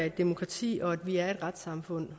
et demokrati og at vi er et retssamfund